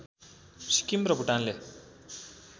सिक्किम र भूटानले